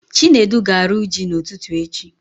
Chinedu ga-arụ ji na ụtụtụ echi